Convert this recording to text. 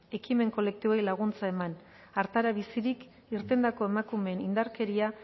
ekimen kolektiboei laguntza eman artara bizirik irtendako emakumeen indarkeria